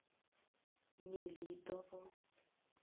нелидово